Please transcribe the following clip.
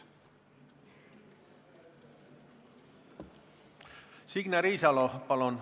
Signe Riisalo, palun!